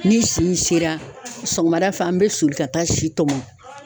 Ni si sera sɔgɔmada fɛ an bɛ soli ka taa si tɔmɔn.